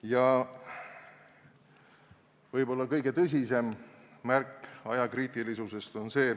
Ja on veel üks asjaolu, mis võib olla kõige tõsisem märk ajakriitilisusest.